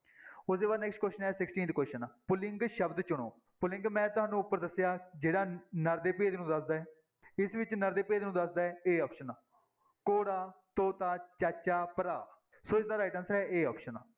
ਉਹਦੇ ਬਾਅਦ next question ਹੈ sixteenth question ਪੁਲਿੰਗ ਸ਼ਬਦ ਚੁਣੋ, ਪੁਲਿੰਗ ਮੈਂ ਤੁਹਾਨੂੰ ਉੱਪਰ ਦੱਸਿਆ, ਜਿਹੜਾ ਨਰ ਦੇ ਭੇਦ ਨੂੰ ਦੱਸਦਾ ਹੈ, ਇਸ ਵਿੱਚ ਨਰ ਦੇ ਭੇਦ ਨੂੰ ਦੱਸਦਾ ਹੈ a option ਘੋੜਾ, ਤੋਤਾ, ਚਾਚਾ, ਭਰਾ ਸੋ ਇਸਦਾ right answer ਹੈ a option